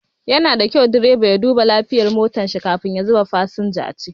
Yana da kyau direba ya duba lafiyar motar shi kafin ya zuba fasinja a ciki.